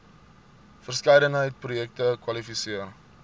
verskeidenheid projekte kwalifiseer